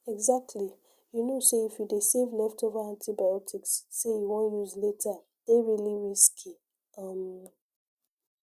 exactly you no know say if you dey save leftover antibiotics say you wan use later dey really risky um